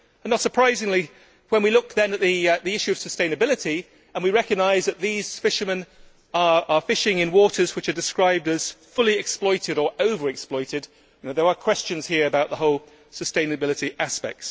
Not surprisingly, when we look at the issue of sustainability and we recognise that these fishermen are fishing in waters which are described as fully exploited' or over exploited', there are questions here about the whole sustainability aspect.